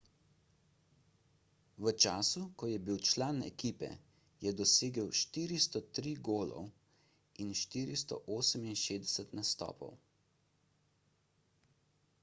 v času ko je bil član ekipe je dosegel 403 golov in 468 nastopov